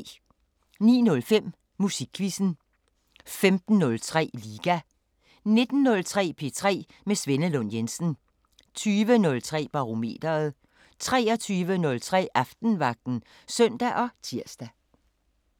09:05: Musikquizzen 15:03: Liga 19:03: P3 med Svenne Lund Jensen 20:03: Barometeret 23:03: Aftenvagten (søn og tir)